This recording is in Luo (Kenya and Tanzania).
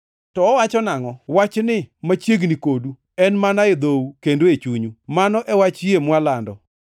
To owacho nangʼo? “Wach ni machiegni kodu, en mana e dhou kendo e chunyu,” + 10:8 \+xt Rap 30:14\+xt* mano e wach yie mwalando.